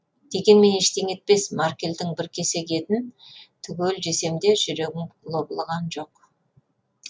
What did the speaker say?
дегенмен ештеме етпес макрельдің бір кесек етін түгел жесем де жүрегім лоблыған жоқ